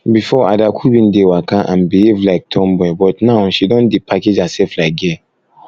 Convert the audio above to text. before adaku bin dey waka and behave like tomboy but now she don dey package herself like girl